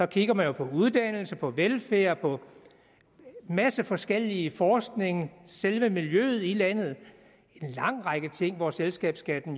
kigger man jo på uddannelse på velfærd på en masse forskellige forskning på selve miljøet i landet en lang række ting hvor selskabsskatten